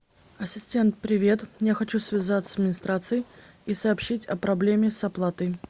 ассистент привет я хочу связаться с администрацией и сообщить о проблеме с оплатой